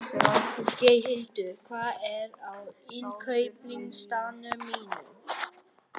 Geirhildur, hvað er á innkaupalistanum mínum?